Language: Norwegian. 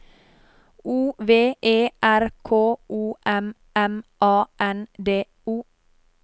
O V E R K O M M A N D O